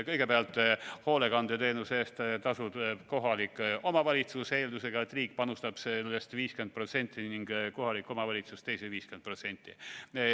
Kõigepealt, hoolekandeteenuse eest tasub kohalik omavalitsus, eeldusega, et riik panustab sellest 50% ja kohaliku omavalitsus teise 50%.